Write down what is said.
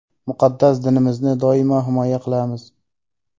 Muqaddas dinimizni doimo himoya qilamiz.